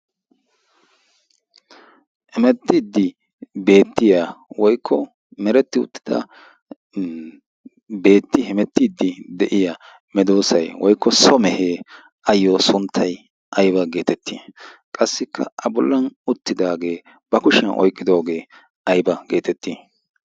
hemettiiddi beettiya woykko meretti uttida beetti hemettiiddi de'iya medoosay woykko somehee ayyo sunttai aiba geetettii qassikka a bollan uttidaagee ba kushiyan oiqqidoogee aiba geetettii?